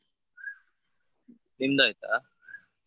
ನಿಂದಾಯ್ತಾ?